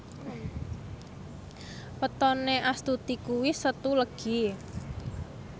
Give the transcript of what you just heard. wetone Astuti kuwi Setu Legi